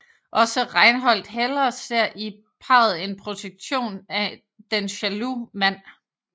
Også Reinhold Heller ser i parret en projektion af den jaloux mand